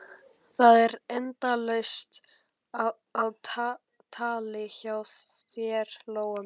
Það er endalaust á tali hjá þér, Lóa mín.